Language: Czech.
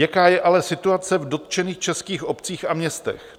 Jaká je ale situace v dotčených českých obcích a městech?